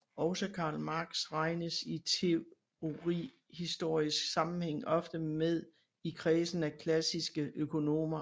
Også Karl Marx regnes i teorihistorisk sammenhæng ofte med i kredsen af klassiske økonomer